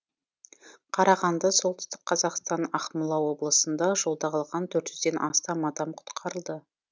қарағанды солтүстік қазақстан ақмола облысында жолда қалған төрт жүзден астам адам құтқарылды